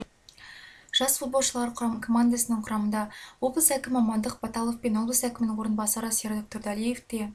жас футболшылар командасының құрамында облыс әкімі амандық баталов пен облыс әкімінің орынбасары серік тұрдалиев те